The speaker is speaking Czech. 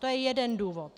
To je jeden důvod.